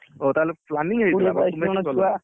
ଓହୋ ତାହେଲେ planning ହେଇଥିଲା କୋଡିଏ ବାଇଶି ଜଣ ଛୁଆ